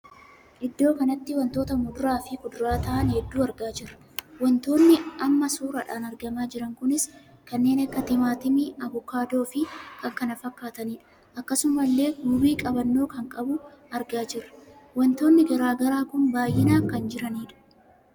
Iddoo kanatti wantoota muduraa fi kuduraa ta'an hedduu argaa jirra. wantootn amma suuraadhaan argamaa jiran kunis kanneen akka timaatimii abukaadoo fi kan kana fakkaatanidha. akkasumallee guubii qabannoo kan qabu argaa jirra. wantoonni garaagaraa kun baay'inaan kan jiraniidha.